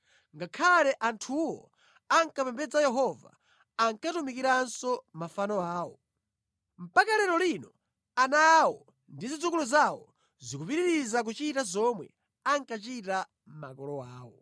Ngakhale anthuwo ankapembedza Yehova, ankatumikiranso mafano awo. Mpaka lero lino ana awo ndi zidzukulu zawo zikupitiriza kuchita zomwe ankachita makolo awo.